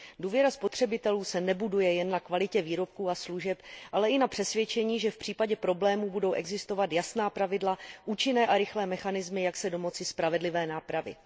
Důvěra spotřebitelů se nebuduje jen na kvalitě výrobků a služeb, ale i na přesvědčení, že v případě problémů budou existovat jasná pravidla, účinné a rychlé mechanismy, jak se domoci spravedlivé nápravy.